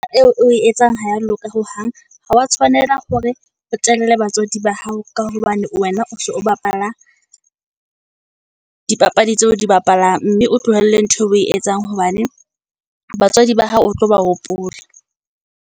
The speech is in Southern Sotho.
Eo, o e etsang ha ya loka hohang, ha wa tshwanela hore o telele batswadi ba hao. Ka hobane wena o so o bapala dipapadi tseo o di bapalang, mme o tlohelle ntho eo o e etsang, hobane batswadi ba hao o tlo ba hopola.